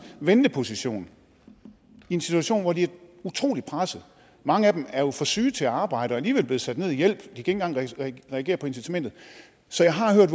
venteposition i en situation hvor de er utrolig presset og mange af dem er jo for syge til at arbejde alligevel blevet sat ned i hjælp ikke engang reagere på incitamentet så jeg har hørt